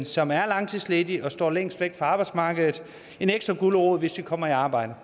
som er langtidsledige og står længst væk fra arbejdsmarkedet en ekstra gulerod hvis de kommer i arbejde